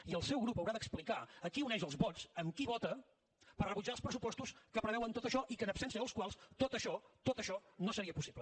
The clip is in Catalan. i el seu grup haurà d’explicar a qui uneix els vots amb qui vota per rebutjar els pressupostos que preveuen tot això i en absència dels quals tot això tot això no seria possible